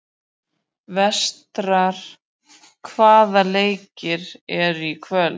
Vestar, hvaða leikir eru í kvöld?